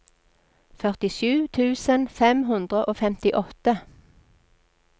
førtisju tusen fem hundre og femtiåtte